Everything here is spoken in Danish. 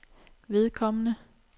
vedkommende